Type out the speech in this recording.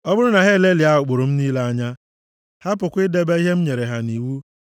ọ bụrụ na ha elelịa ụkpụrụ m niile anya, hapụkwa idebe ihe m nyere ha nʼiwu,